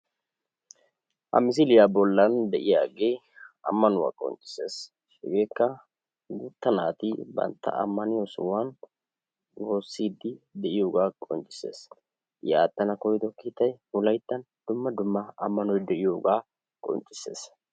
Ha misiliya bollan de'iyage ammanuwa qonccissees. Hageekka guuta naati bantta ammaniyo sohuwan wooside de'iyooga qonccissees. I aatana koyyido kiittay wolaytta dumma dumma ammanoy de'iyooga qonccisses.